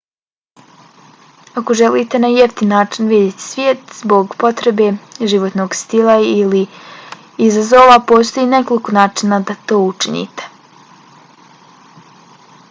ako želite na jeftin način vidjeti svijet zbog potrebe životnog stila ili izazova postoji nekoliko načina da to učinite